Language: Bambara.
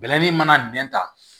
Bɛlɛnin mana nɛn ta